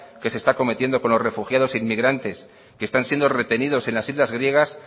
que se está cometiendo con los refugiados inmigrantes que están siendo retenidos en las islas griegas